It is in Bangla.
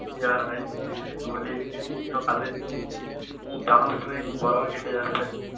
কি আর ভাই কি বলি এই সকালে যা হোক করে গরমে কেটে যাচ্ছে.